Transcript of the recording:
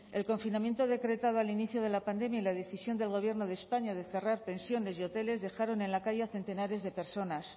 el confinamiento decretado al inicio de la pandemia y la decisión del gobierno de españa de cerrar pensiones y hoteles dejaron en la calle a centenares de personas